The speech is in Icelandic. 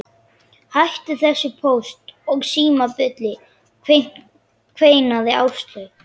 Hættu þessu Póst og Síma bulli kveinaði Áslaug.